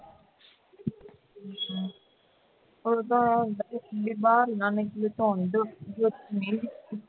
ਉਹ ਤਾਂ ਬਿਮਾਰ